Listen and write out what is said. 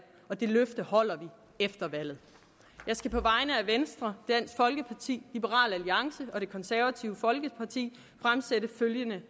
og det løfte holder vi efter valget jeg skal på vegne af venstre dansk folkeparti liberal alliance og det konservative folkeparti fremsætte følgende